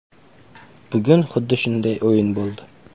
Bugun xuddi shunday o‘yin bo‘ldi.